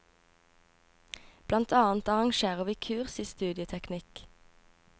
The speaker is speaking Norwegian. Blant annet arrangerer vi kurs i studieteknikk.